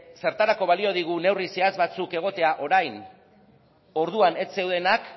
zertarako balio digu neurri zehatz batzuk egotea orain orduan ez zeundenak